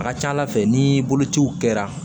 A ka ca ala fɛ ni bolociw kɛra